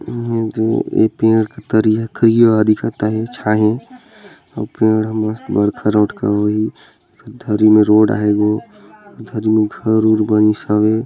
ए पेड़ करिया करीया दिखत आहे छाहे अउ पेड़ ह मस्त बड़खा रोठ के होही धरी में रोड आहे गो धरी में घर उर बनिस हवे।